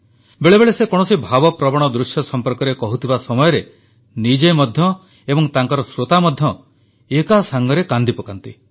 ବେଳେବେଳେ ସେ କୌଣସି ଭାବପ୍ରବଣ ଦୃଶ୍ୟ ସମ୍ପର୍କରେ କହୁଥିବା ସମୟରେ ନିଜେ ମଧ୍ୟ ଏବଂ ତାଙ୍କର ଶ୍ରୋତା ମଧ୍ୟ ଏକାସାଂଗେ କାନ୍ଦିପକାନ୍ତି